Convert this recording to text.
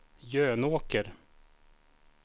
Jönåker